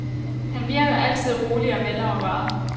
Han virker altid rolig og velovervejet.